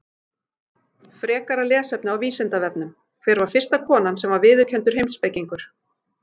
Frekara lesefni á Vísindavefnum: Hver var fyrsta konan sem var viðurkenndur heimspekingur?